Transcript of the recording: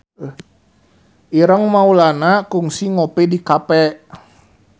Ireng Maulana kungsi ngopi di cafe